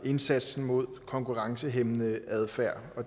indsatsen mod konkurrencehæmmende adfærd